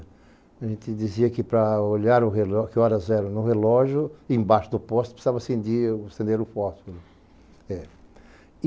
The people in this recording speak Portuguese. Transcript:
A gente dizia que para olhar o reló, que horas eram no relógio, embaixo do poste, precisava-se de acender o fósforo. É.